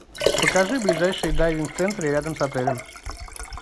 покажи ближайшие дайвинг центры рядом с отелем